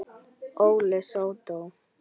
Óli sódó!